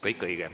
Kõik õige.